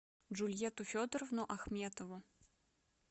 джульетту федоровну ахметову